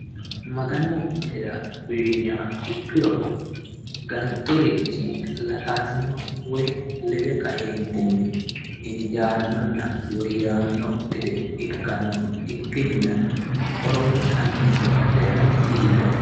maganu minira uyiiniha ikkiro gantorichi latanno woy lede kaeentinni injaannonna woyyanno gede ikkanno ikkinina horontanni badhera dihiganno.